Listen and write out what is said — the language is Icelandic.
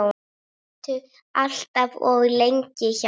Sátu allt of lengi hjá.